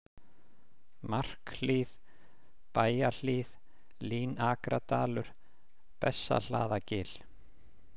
Markhlíð, Bæjahlíð, Línakradalur, Bessahlaðagil